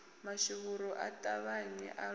mashuvhuru a ṱavhanye a luge